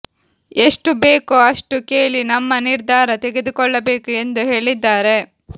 ಎಷ್ಟು ಬೇಕೋ ಅಷ್ಟು ಕೇಳಿ ನಮ್ಮ ನಿರ್ಧಾರ ತೆಗೆದುಕೊಳ್ಳಬೇಕು ಎಂದು ಹೇಳಿದ್ದಾರೆ